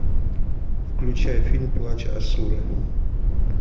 включай фильм плач асуры